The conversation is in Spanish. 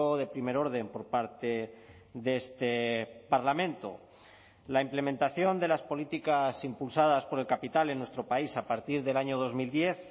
de primer orden por parte de este parlamento la implementación de las políticas impulsadas por el capital en nuestro país a partir del año dos mil diez